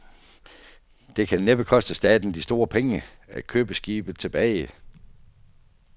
Det kan næppe koste staten de store penge at købe skibet tilbage.